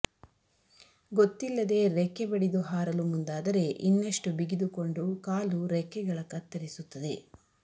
ಗೊತ್ತಿಲ್ಲದೆ ರೆಕ್ಕೆ ಬಡಿದು ಹಾರಲು ಮುಂದಾದರೆ ಇನ್ನಷ್ಟು ಬಿಗಿದುಕೊಂಡು ಕಾಲು ರೆಕ್ಕೆಗಳ ಕತ್ತರಿಸುತ್ತದೆ